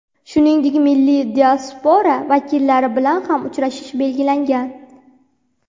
Shuningdek, milliy diaspora vakillari bilan ham uchrashish belgilangan.